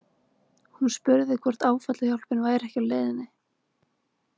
Hún spurði hvort áfallahjálpin væri ekki á leiðinni.